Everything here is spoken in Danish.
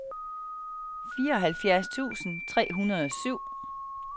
fireoghalvfjerds tusind tre hundrede og syv